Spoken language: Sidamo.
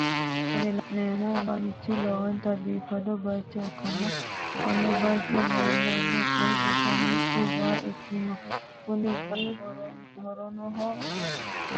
Kuni la'neemo bayiichi lowonta biifino bayiicho ikkanna konne bayiicho leellano coyi giddo mittu waa ikkanna kuni wayi harrannoho woy daadannoho.